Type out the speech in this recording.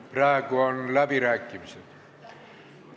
Praegu on läbirääkimised.